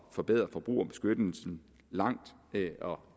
forbedre forbrugerbeskyttelsen meget det